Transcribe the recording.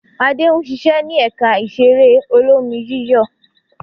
Adé ń ṣiṣẹ́ ní ẹ̀ka ìṣeré olómi-yíyọ̀.